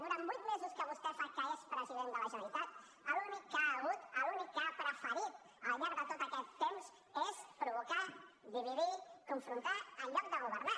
durant vuit mesos que fa que vostè és president de la generalitat l’únic que hi ha hagut l’únic que ha preferit al llarg de tot aquest temps és provocar dividir confrontar en lloc de governar